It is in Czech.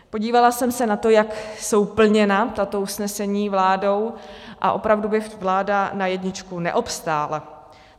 Podívala jsem se na to, jak jsou plněna tato usnesení vládou, a opravdu by vláda na jedničku neobstála.